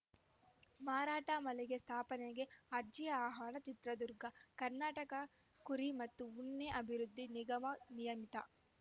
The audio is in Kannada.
ಮಾರಾಟ ಮಳಿಗೆ ಸ್ಥಾಪನೆಗೆ ಅರ್ಜಿ ಆಹ್ವಾನ ಚಿತ್ರದುರ್ಗ ಕರ್ನಾಟಕ ಕುರಿ ಮತ್ತು ಉಣ್ಣೆ ಅಭಿವೃದ್ಧಿ ನಿಗಮ ನಿಯಮಿತ